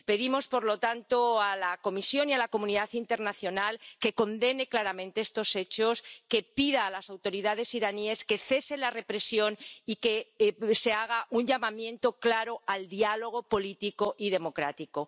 Pedimos, por lo tanto, a la Comisión y a la comunidad internacional que condene claramente estos hechos, que pida a las autoridades iraníes que cese la represión y que se haga un llamamiento claro al diálogo político y democrático.